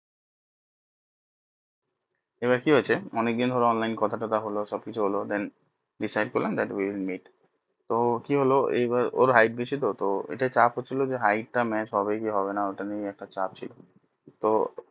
এবার কি হয়েছে অনেক দিন হলো online কথা টথা হলো সব কিছু হলো then তো কি হলো ওর hight বেশি তো তো এটা চাপ হচ্ছিলো তো hight টা match হবে কি হবে না ওটা নিয়ে একটা চাপ ছিল তো